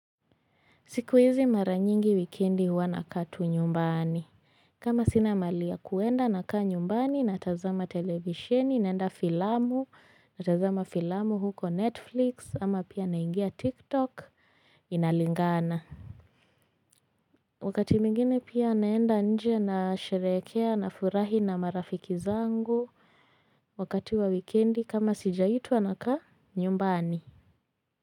Siku hizi mara nyingi wikendi huwa nakaa tu nyumbani. Kama sina mahali ya kuenda nakaa nyumbani, natazama televisheni, naenda filamu, natazama filamu huko Netflix, ama pia naingia TikTok, inalingana. Wakati mwengine pia naenda nje na sherekea na furahi na marafiki zangu wakati wa wikendi kama sijaitwa nakaa nyumbani.